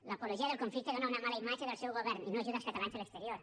l’apologia del conflicte dóna una mala imatge del seu govern i no ajuda els catalans a l’exterior